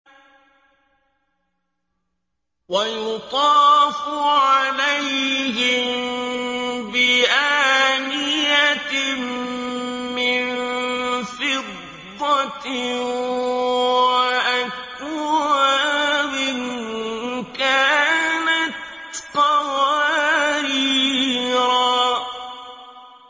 وَيُطَافُ عَلَيْهِم بِآنِيَةٍ مِّن فِضَّةٍ وَأَكْوَابٍ كَانَتْ قَوَارِيرَا